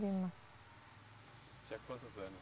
Lima. Tinha quantos anos?